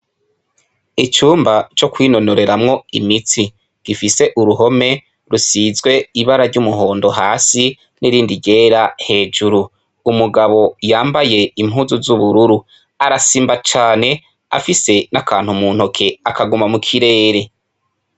Icumba co kwinonoreramwo imitsi, gifise uruhome rusizwe ibara ry'umuhondo hasi, n'irindi ryera hejuru. Umugabo yambaye impuzu z'ubururu; Arasimba cane afise n'akantu mu ntoke, akaguma mu kirere.